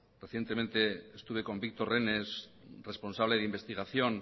recientemente estuve con víctor renes responsable de investigación